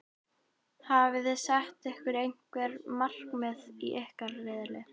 Hafiði sett ykkur einhver markmið í ykkar riðli?